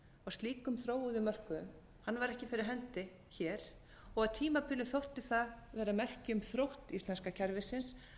slíkum þróuðum mörkuðum væri ekki fyrir hendi hér og á tímabili þótti það vera merki um þrótt íslenska kerfisins að það væri svo fljótt að bregðast